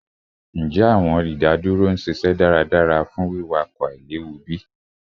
Njẹ awọn idaduro n ṣiṣẹ daradara fun wiwakọ ailewu bi?